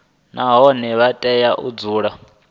nahone vha tea u dzula